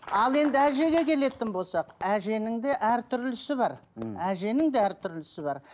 ал енді әжеге келетін болсақ әженің де әртүрлісі бар мхм әженің де әртүрлісі бар